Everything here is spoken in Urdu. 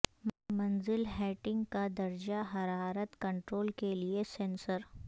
منزل ہیٹنگ کا درجہ حرارت کنٹرول کے لئے سینسر